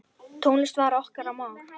Tónlist var okkar mál.